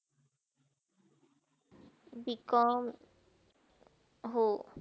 Bcom हो.